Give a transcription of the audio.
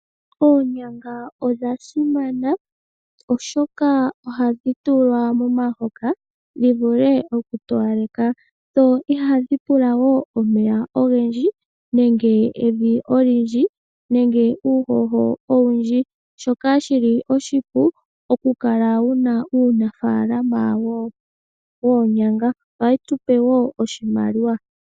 Oonyanga odha simana, oshoka oha dhi tulwa momahoka dhi vule oku towaleka, dho ihadhi pula woo omeya ogendji nenge evi olyindj, nenge uuhoho owundji, shoka shili oshipu oku kala wuna uunafalamo woonyanga. Oha yi tupe woo oshimaliwa.